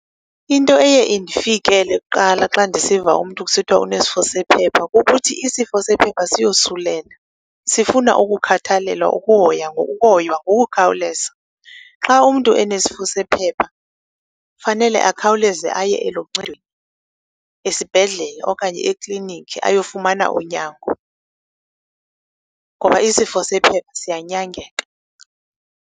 Into eye indifikele kuqala xa ndisiva umntu kusithwa unesifo sephepha kukuthi isifo sephepha siyosulela, sifuna ukukhathalelwa, ukuhoywa ngokukhawuleza. Xa umntu enesifo sephepha fanele akhawuleze aye aluncedweni esibhedlele okanye ekliniki ayofumana unyango ngoba isifo sephepha siyanyangeka.